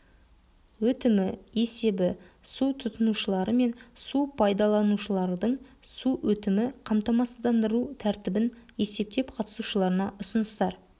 өтімі есебі су тұтынушылары мен су пайдаланушылардың су өтімі қамтамасыздандыру тәртібін есептеп қатысушыларына ұсыныстар